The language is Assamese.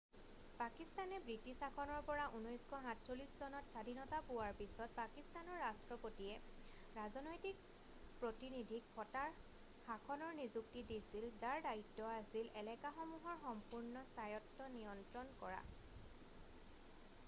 পাকিস্তানে ব্ৰিটিছ শাসনৰ পৰা 1947 চনত স্বাধীনতা পোৱাৰ পিছত পাকিস্তানৰ ৰাষ্ট্ৰপতিয়ে ৰাজনৈতিক প্ৰীতিনিধিক ফটাৰ শাসনৰ নিযুক্তি দিছিল যাৰ দায়িত্ব আছিল এলেকাসমূহৰ সম্পূৰ্ণ স্বায়ত্ব নিয়ন্ত্ৰণ কৰা